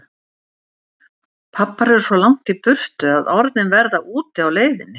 Pabbar eru svo langt í burtu að orðin verða úti á leiðinni.